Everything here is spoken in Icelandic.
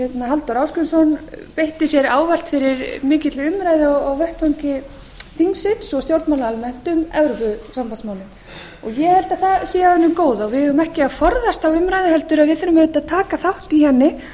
halldór ásgrímsson beitti sér ávallt fyrir mikilli umræðu á vettvangi þingsins og stjórnmála almennt um evrópusambandsmálin ég held að það sé af hinu góða og við eigum ekki að forðast þá umræðu heldur þurfum við auðvitað að taka þátt í henni